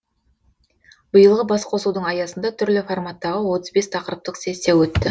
биылғы басқосудың аясында түрлі форматтағы отыз бес тақырыптық сессия өтті